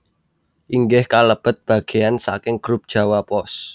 inggih kalebet bagéyan saking Grup Jawa Pos